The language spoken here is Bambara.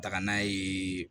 Taga n'a ye